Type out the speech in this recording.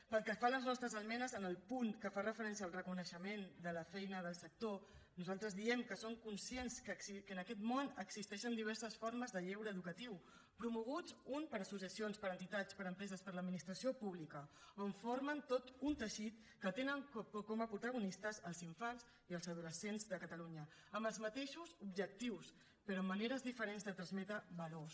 pel que fa a les nostres esmenes en el punt que fa referència al reconeixement de la feina del sector nosaltres diem que som conscients que en aquest món existeixen diverses formes de lleure educatiu promoguts uns per associacions per entitats per empreses per l’administració pública on formen tot un teixit que tenen com a protagonistes els infants i els adolescents de catalunya amb els mateixos objectius però amb maneres diferents de transmetre valors